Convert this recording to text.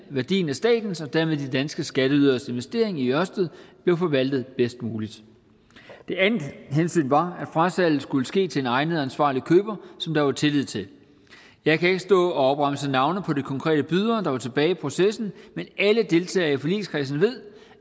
værdien af statens og dermed de danske skatteyderes investering i ørsted blev forvaltet bedst muligt det andet hensyn var at frasalget skulle ske til en egnet ansvarlig køber som der var tillid til jeg kan ikke stå og opremse navne på de konkrete bydere der var tilbage i processen men alle deltagere i forligskredsen ved